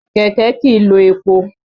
Kẹ̀kẹ́ kìí lo epo.